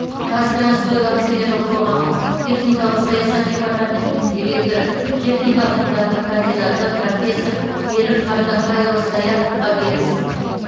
қазтрансойл акционерлік қоғамының техникалық саясат департаментінің директоры техника ғылымдарының кандидаты профессор берік қартаңбайұлы саяховқа берілсін